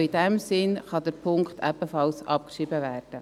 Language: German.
In diesem Sinn kann Punkt 3 ebenfalls abgeschrieben werden.